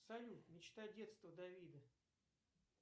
салют мечта детства давида